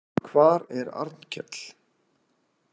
Hvar er Arnkell?